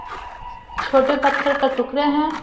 छोटे पत्थर का टुकड़े हैं।